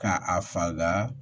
Ka a faga